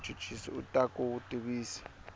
muchuchisi u ta ku tivisa